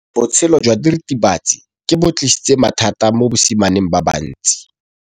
Botshelo jwa diritibatsi ke bo tlisitse mathata mo basimaneng ba bantsi.